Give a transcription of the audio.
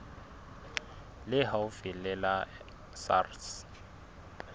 le haufi le la sars